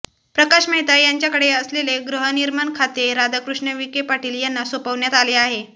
प्रकाश मेहता यांच्याकडे असलेले गृहनिर्माण खाते राधाकृष्ण विखे पाटील यांना सोपवण्यात आले आहे